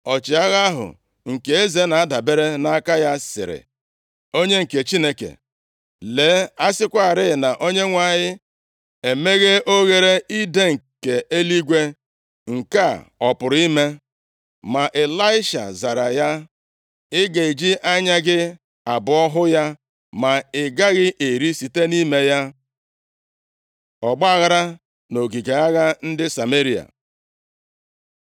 Ọchịagha ahụ, nke eze na-adabere nʼaka ya, sịrị onye nke Chineke, “Lee, a sịkwarị na Onyenwe anyị emeghee oghere idee nke eluigwe, nke a ọ pụrụ ime?” Ma Ịlaisha zara ya, “Ị ga-eji anya gị abụọ hụ ya, ma ị gaghị eri site nʼime ya.” Ọgbaaghara nʼogige agha ndị Sameria